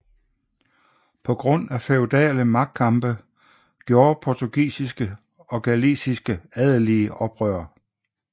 På grund af feudale magtkampe gjorde portugisiske og galiciske adelige oprør